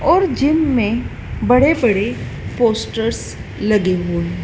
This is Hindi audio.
और जिम में बड़े-बड़े पोस्टरस लगे हुए हैं।